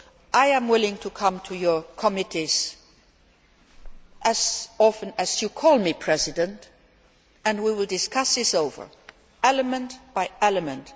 I am willing to come to your committees as often as you call me, Madam President, and we will discuss this over, element by element.